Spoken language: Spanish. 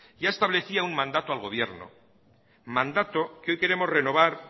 ya establecía un mandato al gobierno mandato que hoy queremos renovar